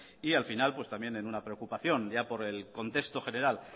y al final también en una preocupación ya por el contexto general